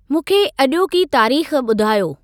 मूंखे अॼोकी तारीख़ ॿुधायो?